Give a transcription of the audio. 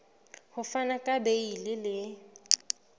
ho fana ka beile le